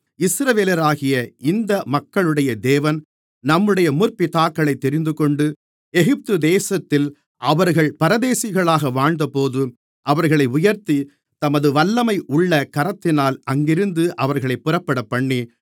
இஸ்ரவேலராகிய இந்த மக்களுடைய தேவன் நம்முடைய முற்பிதாக்களைத் தெரிந்துகொண்டு எகிப்து தேசத்தில் அவர்கள் பரதேசிகளாக வாழ்ந்தபோது அவர்களை உயர்த்தி தமது வல்லமையுள்ள கரத்தினால் அங்கிருந்து அவர்களைப் புறப்படப்பண்ணி